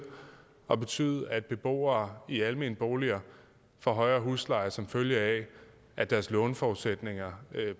at betyde at beboere i almenboliger får højere husleje som følge af at deres låneforudsætninger